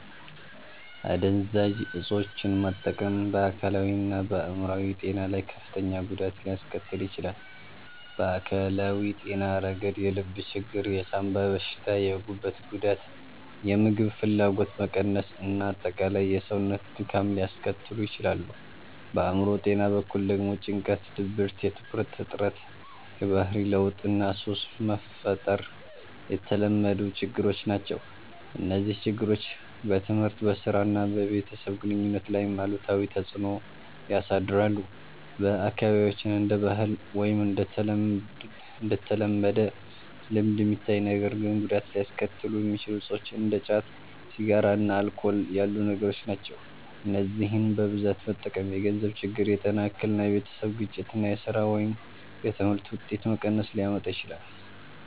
**"አደንዛዥ እፆችን መጠቀም በአካላዊና በአእምሮአዊ ጤና ላይ ከፍተኛ ጉዳት ሊያስከትል ይችላል። በአካላዊ ጤና ረገድ የልብ ችግር፣ የሳንባ በሽታ፣ የጉበት ጉዳት፣ የምግብ ፍላጎት መቀነስ እና አጠቃላይ የሰውነት ድካም ሊያስከትሉ ይችላሉ። በአእምሮ ጤና በኩል ደግሞ ጭንቀት፣ ድብርት፣ የትኩረት እጥረት፣ የባህሪ ለውጥ እና ሱስ መፍጠር የተለመዱ ችግሮች ናቸው። እነዚህ ችግሮች በትምህርት፣ በሥራ እና በቤተሰብ ግንኙነት ላይም አሉታዊ ተጽዕኖ ያሳድራሉ። በአካባቢያችን እንደ ባህል ወይም እንደ ተለመደ ልምድ የሚታዩ ነገር ግን ጉዳት ሊያስከትሉ የሚችሉ እፆች እንደ ጫት፣ ሲጋራ እና አልኮል ያሉ ነገሮች ናቸው። እነዚህን በብዛት መጠቀም የገንዘብ ችግር፣ የጤና እክል፣ የቤተሰብ ግጭት እና የሥራ ወይም የትምህርት ውጤት መቀነስ ሊያመጣ ይችላል።